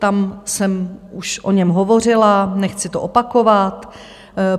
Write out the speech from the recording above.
Tam jsem už o něm hovořila, nechci to opakovat.